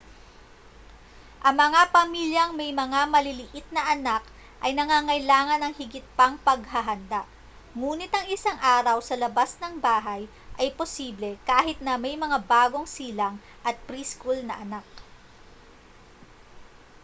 ang mga pamilyang may mga maliliit na anak ay nangangailangan ng higit pang paghahanda ngunit ang isang araw sa labas ng bahay ay posible kahit na may mga bagong silang at pre-school na anak